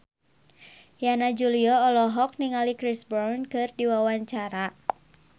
Yana Julio olohok ningali Chris Brown keur diwawancara